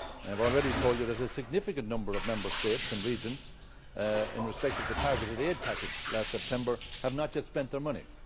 And I have already told you that a significant number of Member States and regions, in respect of the targeted aid package last September, have not yet spent their money.